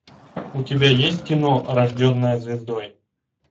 у тебя есть кино рожденная звездой